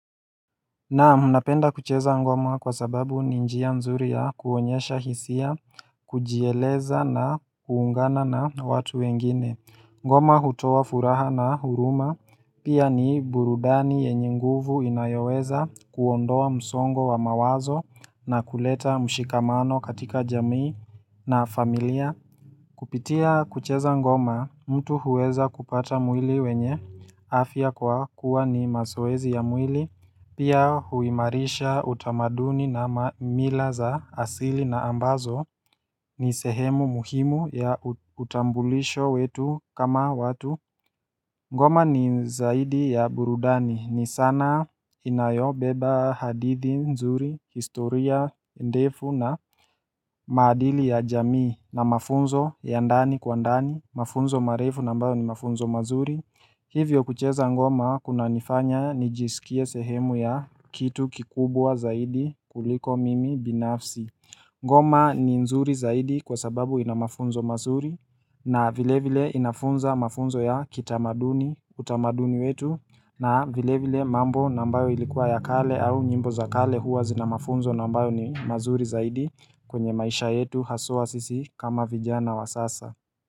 Naam, napenda kucheza ngoma kwa sababu ninjia nzuri ya kuonyesha hisia, kujieleza na kuungana na watu wengine. Ngoma hutoa furaha na huruma, pia ni burudani yenye nguvu inayoweza kuondoa msongo wa mawazo na kuleta mshikamano katika jamii na familia. Kupitia kucheza ngoma, mtu huweza kupata mwili wenye afia kwa kuwa ni mazoezi ya mwili. Pia huimarisha utamaduni na milaz a asili na ambazo ni sehemu muhimu ya utambulisho wetu kama watu ngoma ni zaidi ya burudani ni sanaa inayo beba hadithi nzuri, historia, ndefu na maadili ya jamii na mafunzo ya ndani kwa ndani mafunzo marefu na ambayo ni mafunzo mazuri hivyo kucheza ngoma kuna nifanya nijisikie sehemu ya kitu kikubwa zaidi kuliko mimi binafsi ngoma ni nzuri zaidi kwa sababu ina mafunzo mazuri na vile vile inafunza mafunzo ya kitamaduni utamaduni wetu na vile vile mambo na ambayo ilikuwa ya kale au nyimbo za kale huwa zina mafunzo na ambayo ni mazuri zaidi kwenye maisha yetu haswa sisi kama vijana wa sasa.